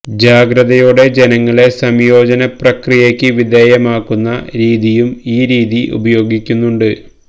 ജാഗ്രതയോടെ ജനങ്ങളെ സംയോജന പ്രക്രിയയ്ക്ക് വിധേയമാക്കുന്ന രീതിയും ഈ രീതി ഉപയോഗിക്കുന്നുണ്ട്